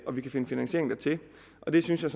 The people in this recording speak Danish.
og vi kan finde finansiering dertil det synes jeg